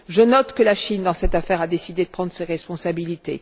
Je note que la Chine, dans cette affaire, a décidé de prendre ses responsabilités.